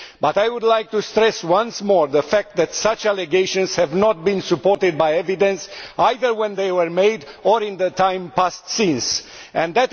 I would like to stress once more the fact that such allegations have not been supported by evidence, either when they were made or since then.